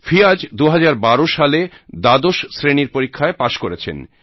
ফিয়াজ 2012 সালে দ্বাদশ শ্রেণীর পরীক্ষায় পাশ করেছেন